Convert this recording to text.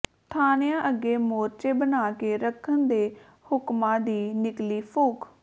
ਥਾਣਿਆਂ ਅੱਗੇ ਮੋਰਚੇ ਬਣਾ ਕੇ ਰੱਖਣ ਦੇ ਹੁਕਮਾਂ ਦੀ ਨਿਕਲੀ ਫੂਕ